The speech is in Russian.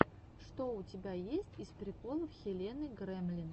что у тебя есть из приколов хелены гремлин